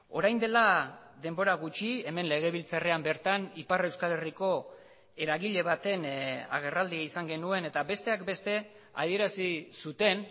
orain dela denbora gutxi hemen legebiltzarrean bertan ipar euskal herriko eragile baten agerraldia izan genuen eta besteak beste adierazi zuten